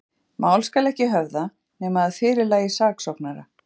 Mál skal ekki höfða, nema að fyrirlagi saksóknara.